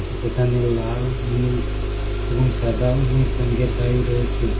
সেখানে লাল নীল এবং সাদা অনেক রঙ্গের গাড়ি রয়েসে।